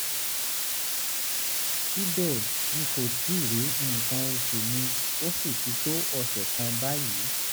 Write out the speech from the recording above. síbẹ̀ n kò tíì rí nǹkan oṣù mi ó sì ti tó ọ̀sẹ̀ kan báyìí